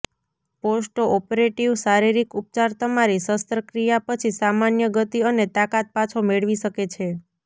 post operative શારીરિક ઉપચાર તમારી શસ્ત્રક્રિયા પછી સામાન્ય ગતિ અને તાકાત પાછો મેળવી શકે છે